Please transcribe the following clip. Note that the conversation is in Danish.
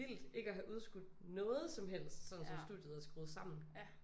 Vildt ikke have udskudt noget som helst sådan som studiet er skuet sammen